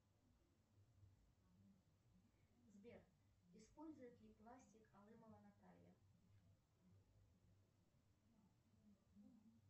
сбер использует ли пластик алымова наталья